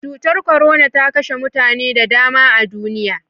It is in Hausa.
Cutar korona ta kashe mutane da dama a duniya.